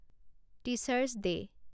teachers day